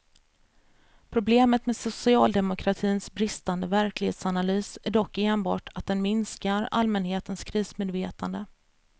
Problemet med socialdemokratins bristande verklighetsanalys är dock enbart att den minskar allmänhetens krismedvetande.